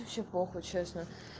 вообще похуй честно